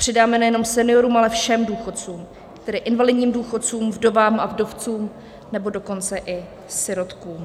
Přidáme nejenom seniorům, ale všem důchodcům, tedy invalidním důchodcům, vdovám a vdovcům, nebo dokonce i sirotkům.